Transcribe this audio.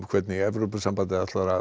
hvernig Evrópusambandið ætlar að